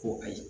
Ko kayi